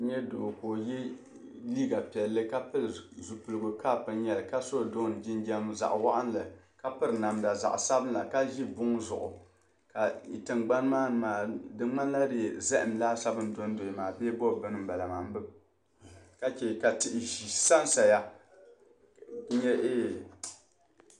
N-nya doo ka o ye liiga piɛlli ka pili zupiligu kap n-nyɛ li ka so dɔɔn jinjam zaɣ'waɣinli ka piri namda zaɣ'sabila ka ʒi buŋ zuɣu ka i tingbani maani maa di ŋmanila zahim laasabu do n-dɔya maa bee bo bini m-bala maa m-bi baŋ ka che ka tihi sansaya n-nyɛ een.